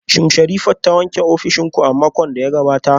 Shin Sherifat ta wanke ofishin ku a makon da ya gabata?